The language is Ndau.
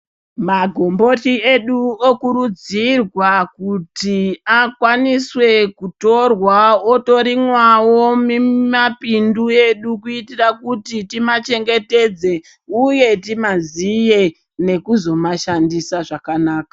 Magumboti edu okurudzirwa kuti akwaniswe kutorwa otorimwawo mimapindu edu kuitira kuti timachengetedze uye timaziye nekuzomashandisa zvakanaka .